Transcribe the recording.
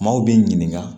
Maaw b'i ɲininka